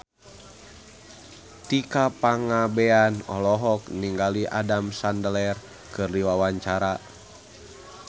Tika Pangabean olohok ningali Adam Sandler keur diwawancara